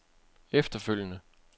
efterfølgende